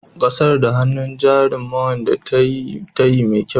Ka sar da hannun jarin ma'wande yayi tayyi mai kyau.